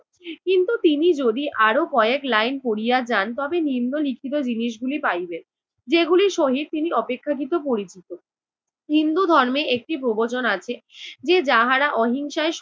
কিন্তু তিনি যদি আরও কয়েক line পড়িয়া যান তবে নিম্ন লিখিত জিনিসগুলি পাইবেন, যেগুলির সহিত তিনি অপেক্ষাকৃত পরিচিত। হিন্দু ধর্মে একটি প্রবচন আছে, যে যাহারা অহিংসায়